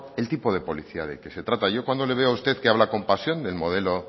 el tipo de policía de que se trata yo cuando le veo a usted que habla con pasión del modelo